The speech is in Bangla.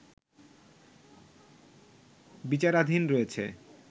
বিচারাধীন রয়েছে